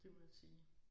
Det må jeg sige